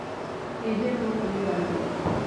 Hihi nũũ ũkũruga nyama?